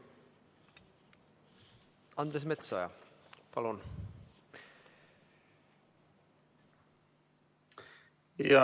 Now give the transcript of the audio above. Andres Metsoja, palun!